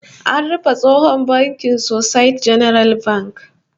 An rufe tsohon bankin Societe Generale Bank